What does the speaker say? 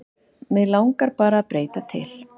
Mig langaði bara að breyta til.